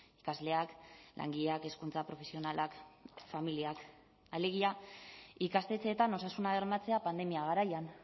ikasleak langileak hezkuntza profesionalak familiak alegia ikastetxeetan osasuna bermatzea pandemia garaian